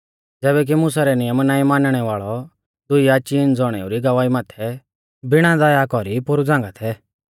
ज़ैबै की मुसा रै नियम नाईं मानणै वाल़ौ दुई या चीन ज़ौणेऊ री गवाही माथै बिणा दया कौरी पोरु झ़ांगा थै